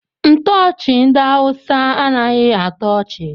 Ntoochi ndị awụsa anaghị atọ ọchị.